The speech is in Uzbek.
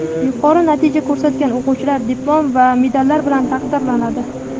Yuqori natija ko‘rsatgan o‘quvchilar diplom va medallar bilan taqdirlanadi.